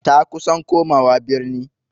Ta kusan komawa birni.